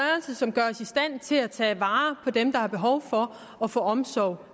som gør os i stand til at tage vare på dem der har behov for at få omsorg